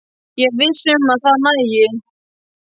Ég er ekki viss um að það nægi